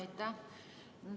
Aitäh!